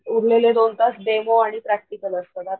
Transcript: उरलेले दोन तास डेमो आणि प्रॅक्टिकल असत.